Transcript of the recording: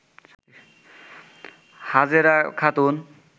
Hajera Khatun